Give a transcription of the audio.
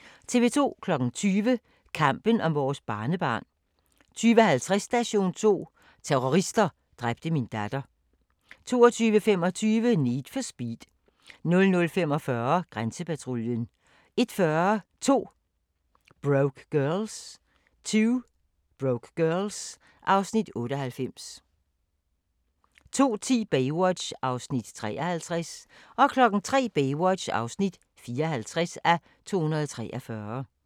20:00: Kampen om vores barnebarn 20:50: Station 2: Terrorister dræbte min datter 22:25: Need for Speed 00:45: Grænsepatruljen 01:40: 2 Broke Girls (Afs. 98) 02:10: Baywatch (53:243) 03:00: Baywatch (54:243)